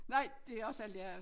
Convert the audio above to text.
Nej det er også alt jeg